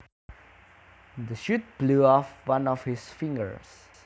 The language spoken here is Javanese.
The shot blew off one of his fingers